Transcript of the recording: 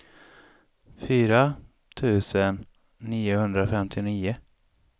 fyra tusen niohundrafemtionio